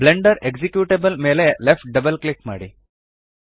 Blender executable ಮೇಲೆ left double click ಮಾಡಿ